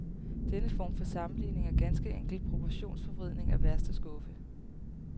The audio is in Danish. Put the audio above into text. Denne form for sammenligning er ganske enkelt proportionsforvridning af værste skuffe.